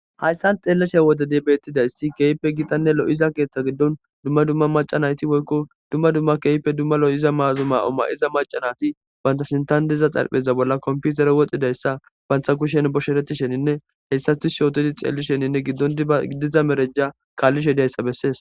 Hayththan xeellesa woththide beeththida issi keehippe giththanne loiza keeththa giddon dumma dumma macca naati woykko dumma dumma keehippe dumma lo7iza maaa7o maa7iza macca naati banttha sinththan diza xarphpheezza bollan komppiitere woxizayssa banththa kushen bushereththishenne tishshe oththi xeellishenne giddo diba marajaa kaallishe deyssa bessees.